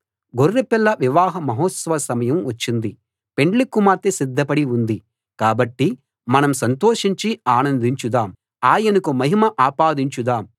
గొర్రెపిల్ల వివాహ మహోత్సవ సమయం వచ్చింది పెండ్లికుమార్తె సిద్ధపడి ఉంది కాబట్టి మనం సంతోషించి ఆనందించుదాం ఆయనకు మహిమ ఆపాదించుదాం